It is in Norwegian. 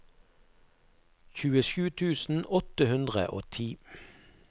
tjuesju tusen åtte hundre og ti